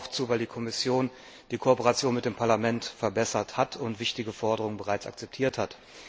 Wir stimmen auch zu, weil die Kommission die Kooperation mit dem Parlament verbessert und wichtige Forderungen bereits akzeptiert hat.